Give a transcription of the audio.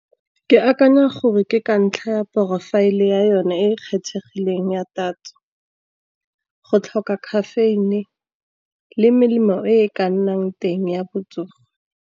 Ke akanya gore ke ka ntlha ya profile ya yone e e kgethegileng ya tatso, go tlhoka caffeine, le melemo e e ka nnang teng ya botsogo.